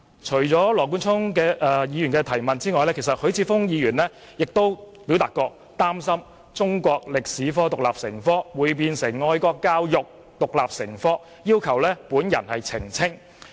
除了羅冠聰議員外，許智峯議員亦表示他擔心中史獨立成科，會變成愛國教育獨立成科，並要求我作出澄清。